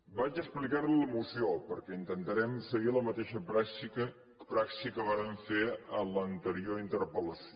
li explicaré la moció perquè intentarem seguir la mateixa praxi que vàrem fer en l’anterior interpel·lació